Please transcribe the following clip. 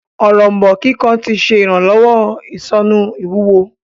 Òrombó kíkan tí ṣe iranlọwọ isonu ìwúwo.